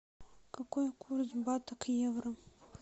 какой курс бата к евро